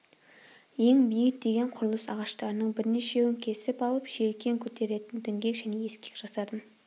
ең биік деген құрылыс ағаштарының бірнешеуін кесіп алып желкен көтеретін діңгек және ескек жасадым